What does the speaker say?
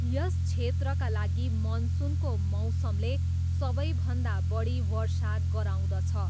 यस क्षेत्रका लागि मनसुनको मौसमले सबैभन्दा बढी वर्षा गराउँदछ।